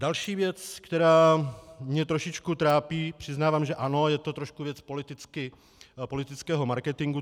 Další věc, která mě trošičku trápí - přiznávám, že ano, je to trošku věc politického marketingu.